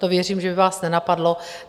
To věřím, že by vás nenapadlo.